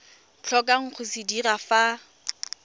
tlhokang go se dira fa